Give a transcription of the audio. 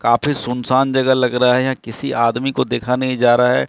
काफी सुन सान जगह लग रहा है यहां किसी आदमी को देखा नहीं जा रहा है।